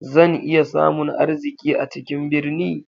Zan iya samun arziki a cikin birni?